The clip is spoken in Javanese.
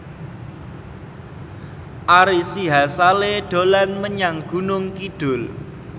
Ari Sihasale dolan menyang Gunung Kidul